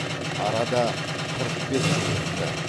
арада қырық бес жыл өтті